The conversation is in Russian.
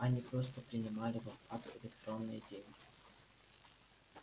они просто принимали в оплату электронные деньги